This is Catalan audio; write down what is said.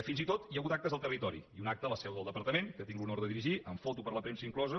fins i tot hi ha hagut actes al territori i un acte a la seu del departament que tinc l’honor de dirigir amb foto per a la premsa inclosa